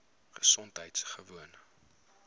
gesondheidgewoon